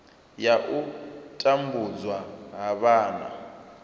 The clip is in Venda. ya u tambudzwa ha vhana